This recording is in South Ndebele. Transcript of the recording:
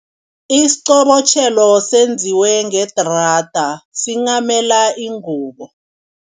Isiqobotjhelo senziwe ngedrada. singhamela ingubo.